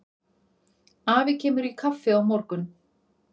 Afi kemur í kaffi á morgun.